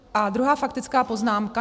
A druhá faktická poznámka.